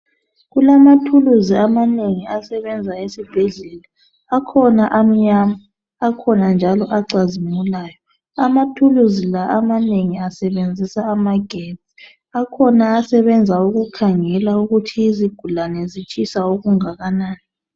Kulamathuluzi amanengi asebenza esibhedlela akhona amnyama akhona njalo acazimulayo amathuluzi la amanengi asebenzisa amagesti. Akhona asebenza ukukhangela ukuthi izigulane zitshisa okungakanani.